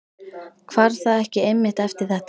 Hvarf það ekki einmitt eftir þetta?